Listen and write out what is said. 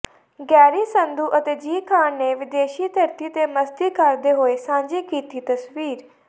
Garry Sandhu ਅਤੇ ਜ਼ੀ ਖ਼ਾਨ ਨੇ ਵਿਦੇਸ਼ੀ ਧਰਤੀ ਤੇ ਮਸਤੀ ਕਰਦੇ ਹੋਏ ਸਾਂਝੀ ਕੀਤੀ ਤਸਵੀਰ